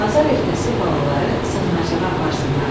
bazar ertəsi balaları sığınacağa aparsınlar.